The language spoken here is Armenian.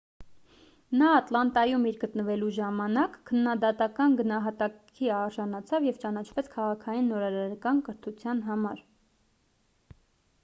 նա ատլանտայում իր գտնվելու ժամանակ քննադատական գնահատանքի արժանացավ և ճանաչվեց քաղաքային նորարարական կրթության համար